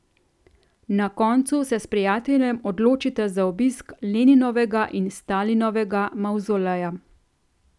Na koncu se s prijateljem odločita za obisk Leninovega in Stalinovega mavzoleja.